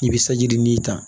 I bɛ saji nin ta